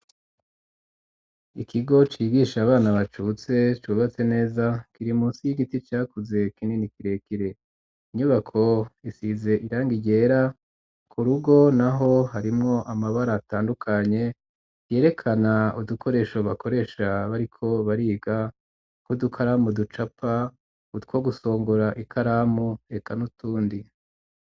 ikigo cigisha abana bacutse cubatse neza kiri munsi y'igiti cakuze kinini kirekire, inyubako isize irangi ryera, ku rugo naho harimwo amabara atandukanye yerekana udukoresho bakoresha bariko bariga nk,udukaramu ducapa, utwo gusongora ikaramu eka n,utundi.